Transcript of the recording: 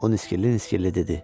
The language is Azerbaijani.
O niskilli-niskilli dedi.